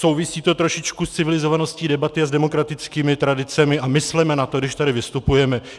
Souvisí to trošičku s civilizovaností debaty a s demokratickými tradicemi, a mysleme na to, když tady vystupujeme.